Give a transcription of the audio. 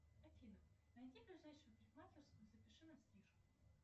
афина найди ближайшую парикмахерскую и запиши на стрижку